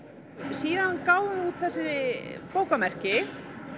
síðan gáfum við út þessi bókamerki